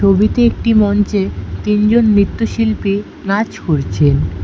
ছবিতে একটি মঞ্চে তিনজন নৃত্যশিল্পী নাচ করছেন।